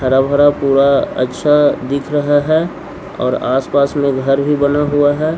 हरा भरा पूरा अच्छा दिख रहा है और आसपास में घर भी बना हुआ है --